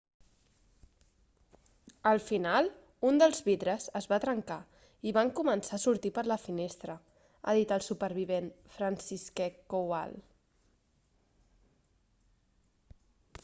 al final un dels vidres es va trencar i van començar a sortir per la finestra ha dit el supervivent franciszek kowal